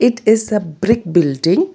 It is a brick building.